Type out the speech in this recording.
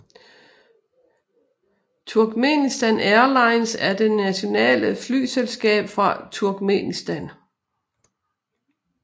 Turkmenistan Airlines er det nationale flyselskab fra Turkmenistan